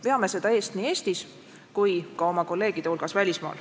Veame seda eest nii Eestis kui ka oma kolleegide hulgas välismaal.